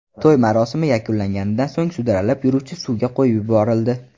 To‘y marosimi yakunlanganidan so‘ng sudralib yuruvchi suvga qo‘yib yuborildi.